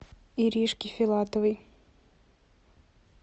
иришке филатовой